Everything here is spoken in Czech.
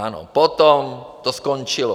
Ano, potom to skončilo.